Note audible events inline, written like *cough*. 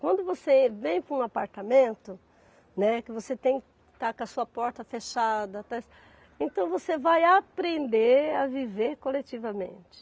Quando você vem para um apartamento, né, que você tem que estar com a sua porta fechada, *unintelligible* então você vai aprender a viver coletivamente.